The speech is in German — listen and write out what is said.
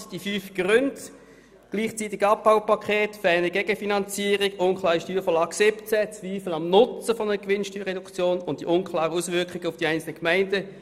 Zusammenfassend die fünf Gründe: gleichzeitiges Abbaupaket, fehlende Gegenfinanzierung, unklare Steuervorlage 2017, Zweifel am Nutzen einer Gewinnsteuerreduktion und unklare Auswirkungen auf die einzelnen Gemeinden.